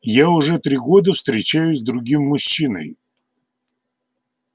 я уже три года встречаюсь с другим мужчиной